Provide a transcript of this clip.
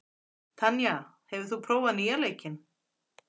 Tanya, hefur þú prófað nýja leikinn?